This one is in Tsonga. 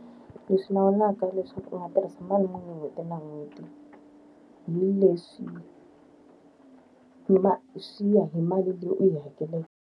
Leswi lawulaka leswaku u nga tirhisa mali muni hi n'hweti na n'hweti, hi leswi swi ya hi mali leyi u yi hakeleke.